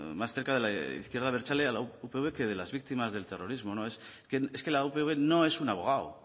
más cerca de la izquierda abertzale a la upv que de las víctimas del terrorismo es que la upv no es un abogado